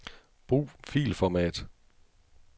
Brug filformat.